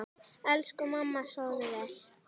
Elsku mamma, sofðu vel.